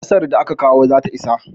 Ƙasar da aka kawo zata isa.